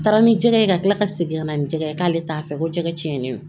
Taara ni jɛgɛ ye ka tila ka segin ka na ni jɛgɛ ye k'ale t'a fɛ ko jɛgɛ cɛnnen don